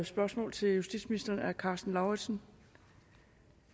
spørgsmål til justitsministeren af herre karsten lauritzen